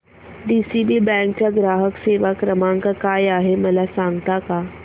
DCB bank चा ग्राहक सेवा क्रमांक काय आहे मला सांगता का